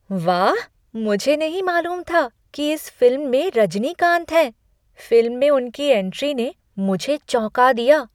वाह! मुझे नहीं मालूम था कि इस फिल्म में रजनीकांत हैं। फिल्म में उनकी एंट्री ने मुझे चौंका दिया।